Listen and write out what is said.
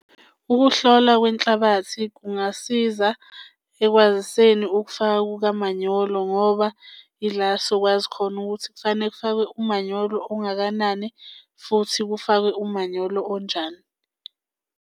Ukuhlola kwenhlabathi kungasiza ekwaziseni ukufaka kukamanyolo ngoba yila sokwazi khona ukuthi kufanele kufakwe umanyolo ongakanani futhi kufakwe umanyolo onjani.